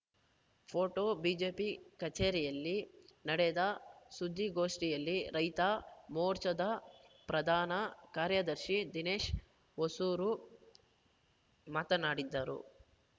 photo BJP ಕಚೇರಿಯಲ್ಲಿ ನಡೆದ ಸುದ್ದಿಗೋಷ್ಠಿಯಲ್ಲಿ ರೈತ ಮೋರ್ಚಾದ ಪ್ರಧಾನ ಕಾರ್ಯದರ್ಶಿ ದಿನೇಶ್‌ ಹೊಸೂರು ಮಾತನಾಡಿದ್ದರು